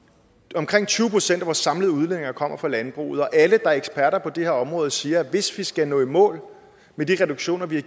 omkring tyve procent af vores samlede udledninger kommer fra landbruget og alle der er eksperter på det her område siger at hvis vi skal nå i mål med de reduktioner vi har